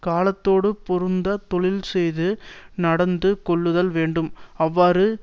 காலத்தோடு பொருந்த தொழில்செய்து நடந்து கொள்ளுதல் வேண்டும் அவ்வாறு